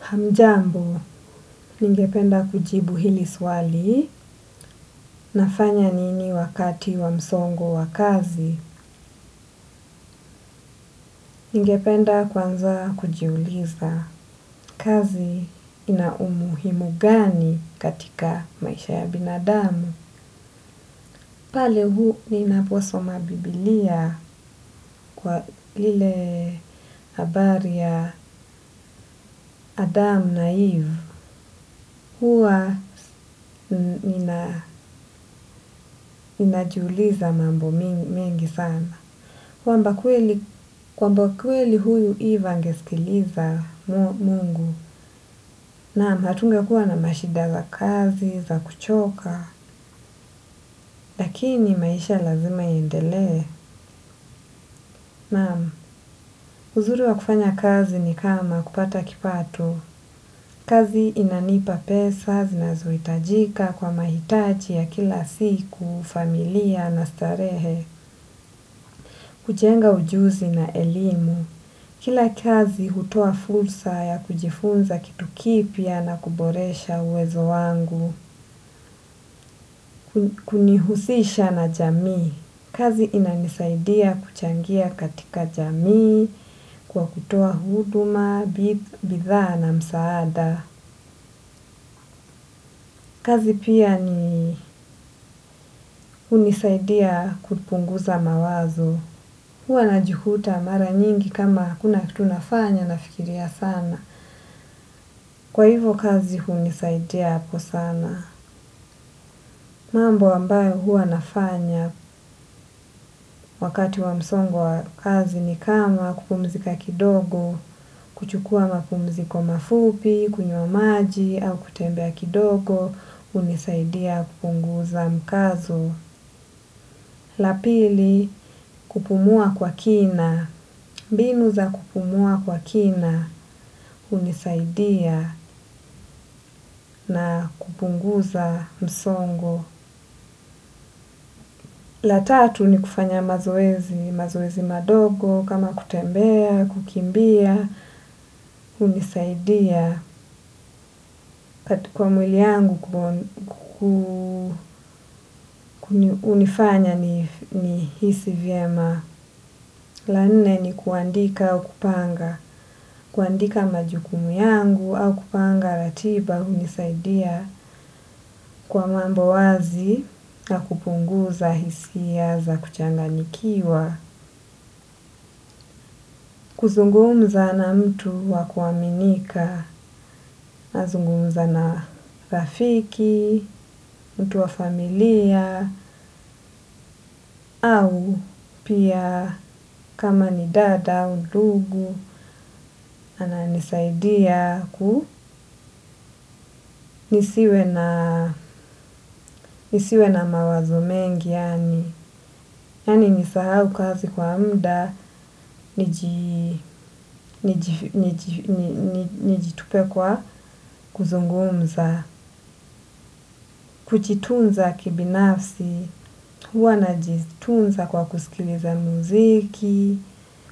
Hamjambu, ningependa kujibu hili swali, nafanya nini wakati wa msongo wa kazi, ningependa kwanza kujiuliza kazi ina umuhimu gani katika maisha ya binadamu. Pale ninaposoma bibilia kwa lile habari ya Adam na Eve. Hua ninajuliza mambo mengi sana. Kwamba kweli huyu Eve angesikiliza Mungu. Naam, hatungekuwa na mashida za kazi, za kuchoka. Lakini maisha lazima iendele. Naam, uzuri wa kufanya kazi ni kama kupata kipato. Kazi inanipa pesa zinazohitajika kwa mahitaji ya kila siku, familia na starehe, kujenga ujuzi na elimu. Kila kazi hutoa fursa ya kujifunza kitu kipya na kuboresha uwezo wangu, kunihusisha na jamii. Kazi inanisaidia kuchangia katika jamii, kwa kutoa huduma, bidhaa na msaada. Kazi pia ni hunisaidia kupunguza mawazo. Huwa najikuta mara nyingi kama hakuna kitu nafanya nafikiria sana. Kwa hivo kazi hunisaidia hapo sana. Mambo ambayo huwa nafanya wakati wa msongo wa kazi ni kama kupumzika kidogo, kuchukua mapumziko mafupi, kunywa maji, au kutembea kidogo, hunisaidia kupunguza mkazo. La pili kupumua kwa kina. Mbinu za kupumua kwa kina hunisaidia na kupunguza msongo. La tatu ni kufanya mazoezi madogo kama kutembea, kukimbia. Hunisaidia. Kwa mwili yangu hunifanya nihisi vyema. La nene ni kuandika au kupanga. Kuandika majukumu yangu au kupanga ratiba hunisaidia kwa mambo wazi na kupunguza hisia za kuchanganyikiwa. Kuzungumza na mtu wa kuaminika, nazungumza na rafiki, mtu wa familia au pia kama ni dada au ndugu, ananisaidia nisiwe na mawazo mengi yaani. Yaani nisahau kazi kwa muda, nijitupe kwa kuzungumza. Kujitunza kibinafsi, huwa najitunza kwa kusikiliza muziki,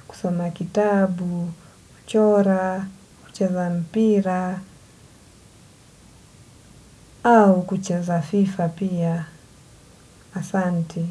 kusoma kitabu, kuchora, kucheza mpira, au kuchaza fifa pia, asante.